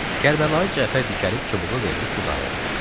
Kərbəlayı Cəfər dikəlib çubuğu verdi Xudayar bəyə.